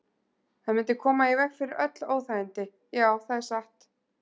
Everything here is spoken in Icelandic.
Það mundi koma í veg fyrir öll óþægindi, já, það er satt.